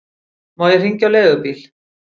Má ég hringja á leigubíl?